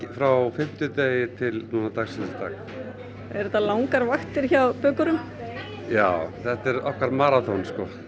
frá fimmtudegi til dagsins í dag eru þetta langar vaktir hjá bökurum já þetta er okkar maraþon